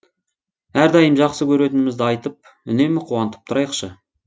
әрдайым жақсы көретінімізді айтып үнемі қуантып тұрайықшы